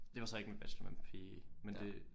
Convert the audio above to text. Det var så ikke en bachelor men men det